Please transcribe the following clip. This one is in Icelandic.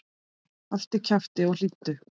Haltu kjafti og hlýddu!